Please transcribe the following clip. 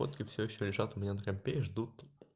фотки всё ещё лежат у меня на компе и ждут